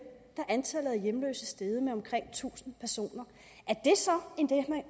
er antallet af hjemløse steget med omkring tusind personer